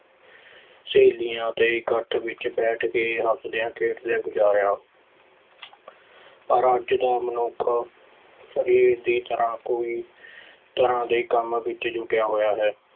ਸਹੇਲੀਆਂ ਤੇ ਇਕੱਠ ਵਿੱਚ ਬੈਠ ਕੇ ਹੱਸਦਿਆਂ-ਖੇਡਦਿਆਂ ਗੁਜਾਰਿਆਂ ਪਰ ਅੱਜ ਦਾ ਮਨੁੱਖ ਸਰੀਰ ਦੀ ਤਰ੍ਹਾਂ ਕੋਈ ਤਰ੍ਹਾਂ ਦੇ ਕੰਮ ਵਿੱਚ ਜੁਟਿਆ ਹੋਇਆ ਹੈ।